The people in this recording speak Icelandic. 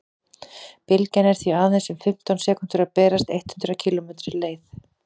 bylgjan er því aðeins um fimmtán sekúndur að berast eitt hundruð kílómetri leið